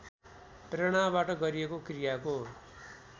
प्रेरणाबाट गरिएको क्रियाको